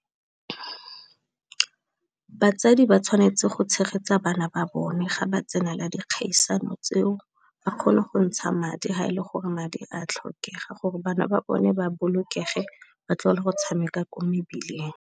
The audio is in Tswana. Batsadi ba tshwanetse go tshegetsa bana ba bone ga ba tsena la dikgaisano tseo, ba kgone go ntsha madi ha e le gore madi a tlhokega gore bana ba bone ba bolokege, batlogele go tshameka kwa mebileng.